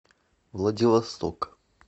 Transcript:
владивосток